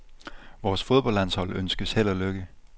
Vores fodboldlandshold ønskes held og lykke.